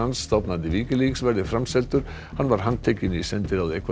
stofnandi Wikileaks verði framseldur hann var handtekinn í sendiráði Ekvadors